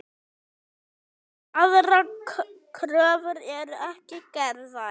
Aðrar kröfur eru ekki gerðar.